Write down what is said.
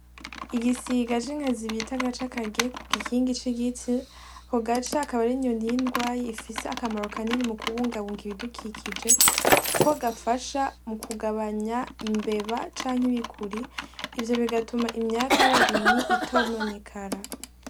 Igisiga c'inkazi bita agaca kagiye kugikingi c'igiti, ako gaca kabari inyoni y'indwayi ifise akamaro kanini mu kubungabunga ibidukikije, kuko gafasha mu kugabanya imbeba canke ibikuri ivyo bigatuma imyaka y'abarimyi itononekara.